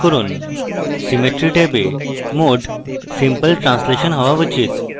symmetry ট্যাবে mode simple translation হওয়া উচিত